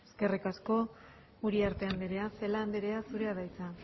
eskerrik asko uriarte andrea celaá andrea zurea da hitza